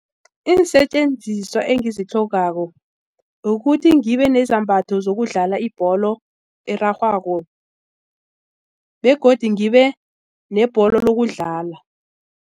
Iinsetjenziswa engizitlhogako ukuthi ngibe nezambatho zokudlala ibholo erarhwako begodu ngibe nebholo lokudlala.